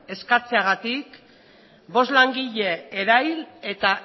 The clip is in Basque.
eskatzeagatik bost langile erail eta